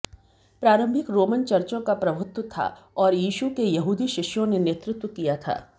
प्रारंभिक रोमन चर्चों का प्रभुत्व था और यीशु के यहूदी शिष्यों ने नेतृत्व किया था